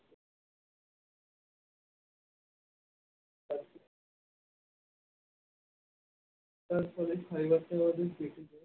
fibre টা অনেক বেশি থাকে